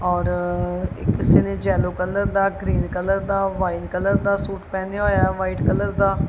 ਔਰ ਇਹ ਕਿਸੇ ਨੇ ਜੈੱਲੋਂ ਕਲਰ ਦਾ ਗ੍ਰੀਨ ਕਲਰ ਦਾ ਵ੍ਹਾਈਟ ਕਲਰ ਦਾ ਸੂਟ ਪਹਿਨਿਆ ਹੋਯਾ ਹੈ ਵ੍ਹਾਈਟ ਕਲਰ ਦਾ।